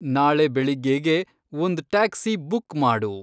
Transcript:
ನಾಳೆ ಬೆಳಿಗ್ಗೇಗೆ ಒಂದ್‌ ಟ್ಯಾಕ್ಸಿ ಬುಕ್‌ ಮಾಡು